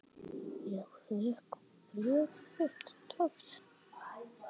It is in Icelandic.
Ég fékk bréf þitt dags.